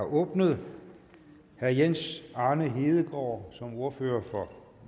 er åbnet herre jens arne hedegaard som ordfører for